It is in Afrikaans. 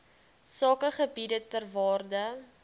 sakegebiede ter waarde